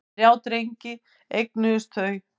Þrjá drengi eignuðust þau.